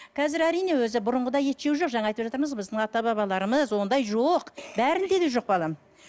қазір әрине өзі бұрынғыдай ет жеу жоқ жаңа айтып жатырмыз біздің ата бабаларымыз ондай жоқ бәрінде де жоқ балам